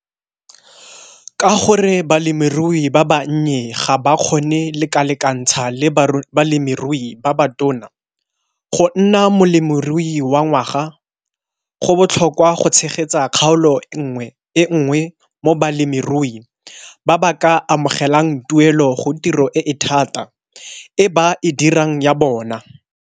Ka gore balemirui ba bannye ga ba kgone lekalekantsha le balemirui ba ba tona go nna Molemirui wa Ngwaga, go botlhokwa go tshegetsa kgaolo e nngwe mo balemirui ba ba ka amogelang tuelo go tiro e e thata e ba e dirang ya bona.